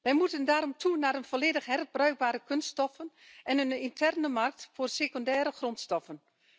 Wij moeten daarom toe naar volledig herbruikbare kunststoffen en een interne markt voor secundaire grondstoffen.